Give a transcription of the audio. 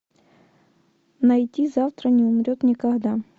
найти завтра не умрет никогда